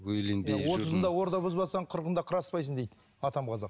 отызыңда орда бұзбасаң қырықыңда қыр аспайсың дейді атам қазақ